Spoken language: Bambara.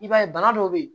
I b'a ye bana dɔw bɛ yen